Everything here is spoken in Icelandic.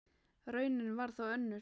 Raunin varð þó önnur.